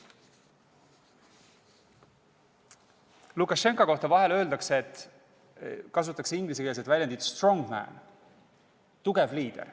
Lukašenka kohta öeldakse vahepeal ingliskeelset väljendit kasutades strong man ehk tugev liider.